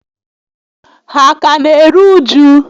Ha a ka n'eru uju?